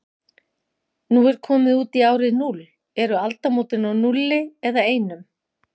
Nú komin út í árið núll, eru aldamót á núlli eða einum?